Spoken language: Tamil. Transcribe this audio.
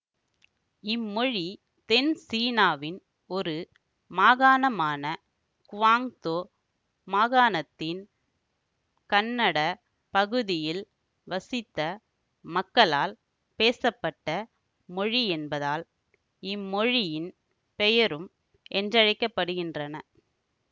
இம்மொழி தென்சீனாவின் ஒரு மாகாணமான குவாங்தோ மாகாணத்தின் கன்னட பகுதியில் வசித்த மக்களால் பேசப்பட்ட மொழியென்பதால் இம்மொழியின் பெயரும் என்றழைக்கப்படுகின்றன